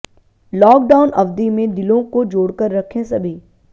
lock down अवधि में दिलों को जोड़कर रखें सभी